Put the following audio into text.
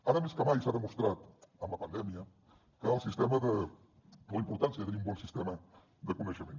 ara més que mai s’ha demostrat amb la pandèmia el sistema o la importància de tenir un bon sistema de coneixement